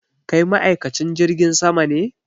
Kai ma'aikacin jirgin sama ne?